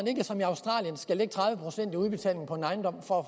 ikke som i australien skal lægge tredive procent i udbetaling på en ejendom for